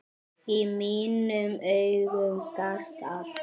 Í mínum augum gastu allt.